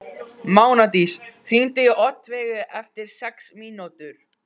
Mánadís, hringdu í Oddveigu eftir sex mínútur.